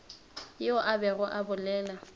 yo a bego a bolela